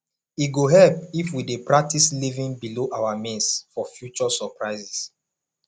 e go help if we dey practice living below our means for future surprises